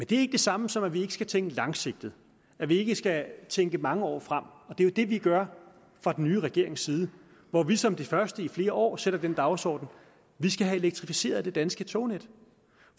det samme som at vi ikke skal tænke langsigtet at vi ikke skal tænke mange år frem og det er jo det vi gør fra den nye regerings side hvor vi som de første i flere år sætter den dagsorden at vi skal have elektrificeret det danske tognet